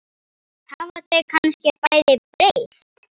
Hafa þau kannski bæði breyst?